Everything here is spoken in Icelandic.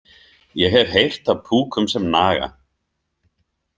Ég hef heyrt af púkum sem naga.